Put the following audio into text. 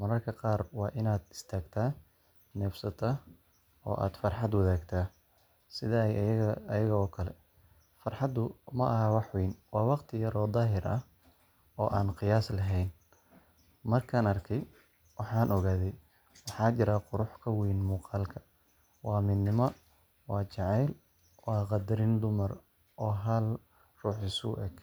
mararka qaar waa inaad istaagtaa, neefsataa, oo aad farxad wadaagtaa sida iyaga oo kale. Farxaddu ma aha wax weyn, waa waqti yar oo daahir ah oo aan qiyaas lahayn. Markaan arkay, waxaan ogaaday: Waxaa jira qurux ka wayn muuqaalka waa midnimada, waa jacaylka, waa qadarin dumar oo hal ruux isu eg.